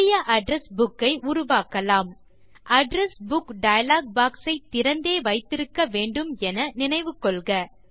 புதிய address book ஐ உருவாக்கலாம் அட்ரெஸ் புக் டயலாக் பாக்ஸ் ஐ திறந்தே வைத்திருக்க வேண்டும் என நினைவு கொள்க